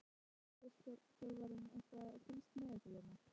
Hvernig getur landsliðsþjálfarinn eitthvað fylgst með ykkur hérna?